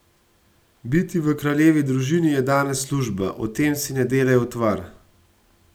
Biti v kraljevi družini je danes služba, o tem si ne delaj utvar.